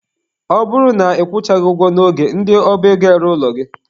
Ọ bụrụ na ị kwụchaghị ụgwọ n'oge, ndị ọba ego eree ụlọ gị.